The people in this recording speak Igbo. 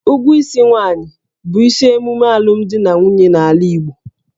Ụgwọ isi nwaanyị bụ isi emume alụmdi na nwunye n'ala Igbo